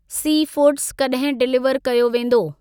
Seafood कॾहिं deliver कयो वेंदो?